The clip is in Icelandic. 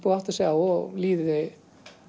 áttað sig á og líði